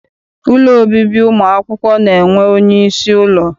Ụlọ obibi ụmụakwụkwọ na-enwe onyeisi ụlọ.